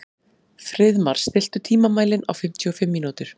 Friðmar, stilltu tímamælinn á fimmtíu og fimm mínútur.